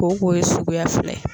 Kooko ye suguya filɛ